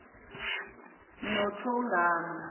nothogama